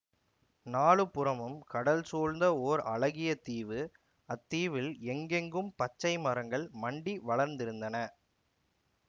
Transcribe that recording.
நாலுபுறமும் கடல் சூழ்ந்த ஓர் அழகிய தீவு அத்தீவில் எங்கெங்கும் பச்சை மரங்கள் மண்டி வளர்ந்திருந்தன